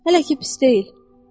Hələ ki pis deyil.